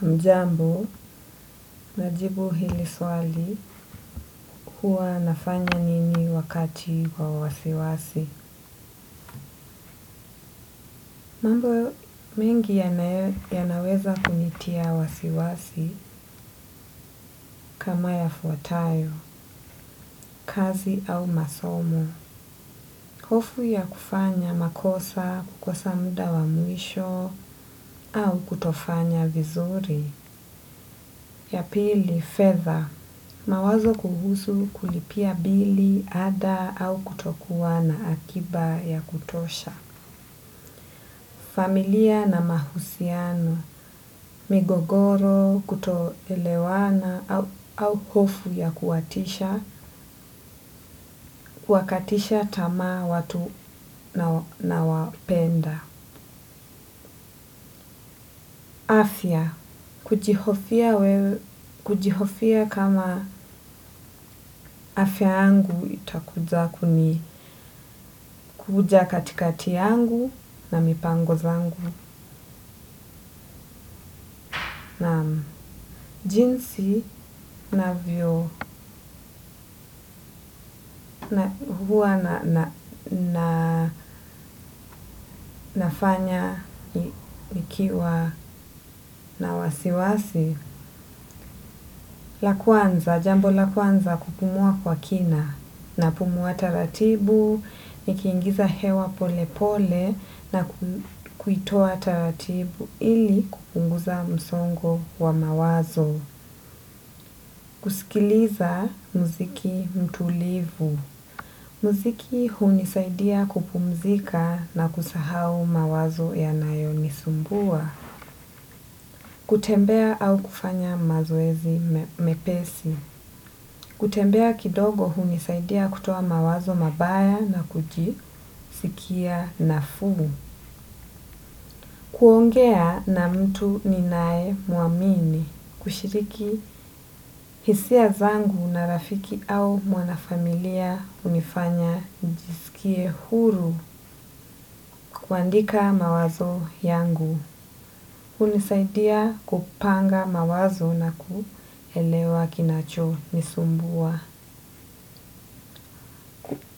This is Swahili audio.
Hujambo, najibu hili swali kuwa nafanya nini wakati wa wasiwasi. Mambo, mengi yanaweza kunitia wasiwasi kama yafuatayo, kazi au masomo. Hofu ya kufanya makosa, kukosa muda wa mwisho, au kutofanya vizuri. Ya pili fedha mawazo kuhusu kulipia bili ada au kutokuwa na akiba ya kutosha. Familia na mahusiano, migogoro, kutoelewana au hofu ya kuwatisha, kuwakatisha tamaa watu nawapenda. Afya, kujihofia kama afya yangu itakuja kuni katikati yangu na mipango zangu na jinsi navyo huwa na nafanya nikiwa na wasiwasi. La kwanza, jambo la kwanza kupumua kwa kina, napumua taratibu, nikiingiza hewa pole pole na kuitoa taratibu ili kupunguza msongo wa mawazo, kusikiliza muziki mtulivu. Muziki hunisaidia kupumzika na kusahau mawazo ya nayo nisumbua, kutembea au kufanya mazoezi mepesi. Kutembea kidogo hunisaidia kutoa mawazo mabaya na kujisikia nafuu. Kuongea na mtu ninae muamini, kushiriki hisia zangu na rafiki au mwanafamilia hunifanya njisikie huru. Kuandika mawazo yangu, hunisaidia kupanga mawazo na kuelewa kinachonisumbua.